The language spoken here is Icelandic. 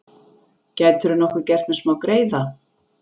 Gætirðu nokkuð gert mér smágreiða?